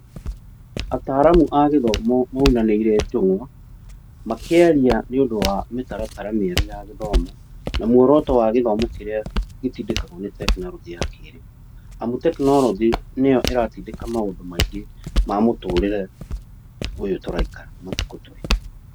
Ataaramu a gĩthomo maunanĩire njũng'wa makĩaria nĩ ũndũ wa mĩtaratara mĩerũ ya gĩthomo, na mworoto wa gĩthomo kĩrĩa gĩtindĩkagwo nĩ teknorojĩ ya kĩrĩu, amu teknorojĩ nĩyo ĩratindika maũndũ maingĩ ma mũtũrire ũyũ tũraikara matukũ tũrĩ.